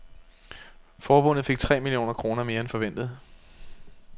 Forbundet fik tre millioner kroner mere end forventet.